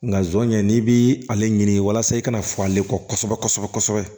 Nga zon ɲɛ n'i bi ale ɲini walasa i kana fɔ ale kɔsɛbɛ kɔsɛbɛ